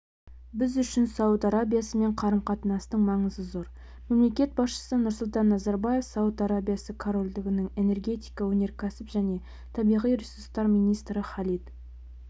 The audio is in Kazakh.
біз үшін сауд арабиясымен қарым-қатынастың маңызы зор мемлекет басшысы нұрсұлтан назарбаев сауд арабиясы корольдігінің энергетика өнеркәсіп және табиғи ресурстар министрі халид